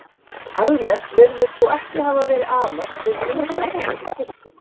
Almennt virðist þó ekki hafa verið amast við myndverkum í kirkjum.